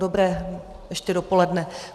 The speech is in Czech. Dobré ještě dopoledne.